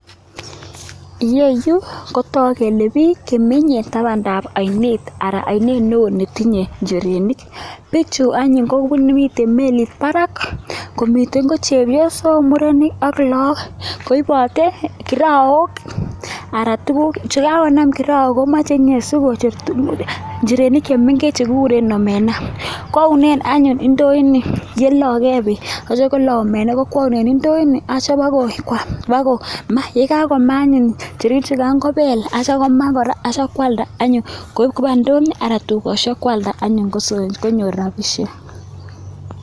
Yeyu ko tok kele pik che menye tapandap ara anyun ainet netinye njirenik Pichu anyuny ko mitei melit parak komitei ko chepyosok murenik ak loagook koibote kiraok ara komeche sigonem tukuuk che mengechen chekikure njirenik che mengechen chekikuren omenaa kounen anyun ndoini yeloige peek atiei koloi omenaa kokweunen ndoini atiei bo ko ma taite kobell si kwam akopell akoma kora atiei koip indonyo ba kwanlda en indonyo tukosiek ara konyor rapisiek